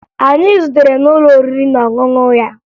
Anyị zutere n'ụlọ oriri na ọṅụṅụ ya